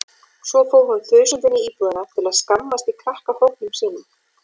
Svo fór hún þusandi inn í íbúðina til að skammast í krakkahópnum sínum.